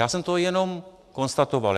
Já jsem to jenom konstatoval.